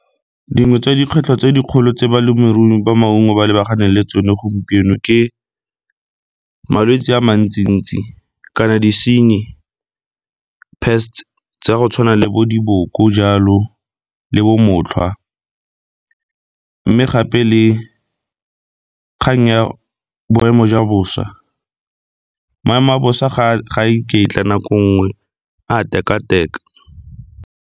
Dingwe tsa dikgwetlho tse dikgolo tse balemirui ba maungo ba lebaganeng le tsone gompieno ke malwetse a mantsi-ntsi kana disenyi pests tsa go tshwana le bo diboko jalo le bo motlhwa. Mme gape le kgang ya boemo jwa bosa, maemo a bosa ga a iketla nako nngwe a a teka-teka.